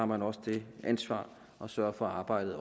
man også det ansvar at sørge for at arbejdet